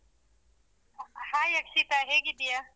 Hai Akshita ಹೇಗಿದ್ದೀಯ?